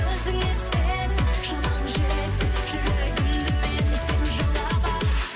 өзіңе сен шамаң жетсе жүрегімді менің сен жаулап ал